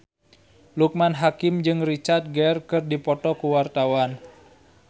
Loekman Hakim jeung Richard Gere keur dipoto ku wartawan